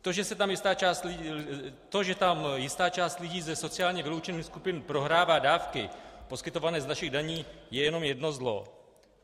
To, že tam jistá část lidí ze sociálně vyloučených skupin prohrává dárky poskytované z našich daní, je jenom jedno zlo.